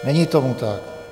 Není tom tak.